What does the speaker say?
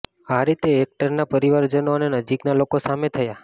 આ રીતે એક્ટરના પરિવારજનો અને નજીકના લોકો સામે થયા